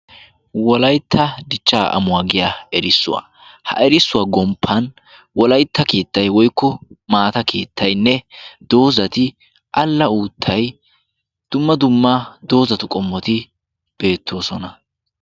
Wolaytta dichcha amuwaa giya erissuwaa. ha erissuwaa gomppan wolaytta kiittay woykko maata kiittainne doozati alla uuttay dumma dumma doozatu qommoti beettoosona.